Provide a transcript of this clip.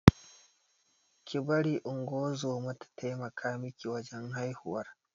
Ki bari ungozoma ta taimaka miki wajan haihuwar